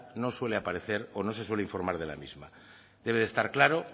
no suele aparecer o no se suele aparecer de la misma debe estar claro